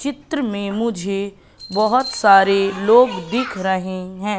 चित्र में मुझे बहोत सारे लोग दिख रहे हैं।